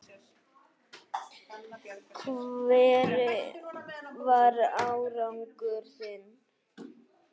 Hver var árangur þinn?